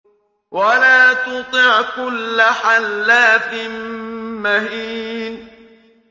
وَلَا تُطِعْ كُلَّ حَلَّافٍ مَّهِينٍ